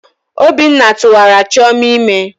Obinna tuwara chioma ime.